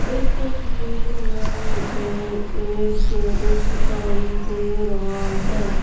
इस तस्वीर में मुझे एक गैरेज दिखाई दे रहा है।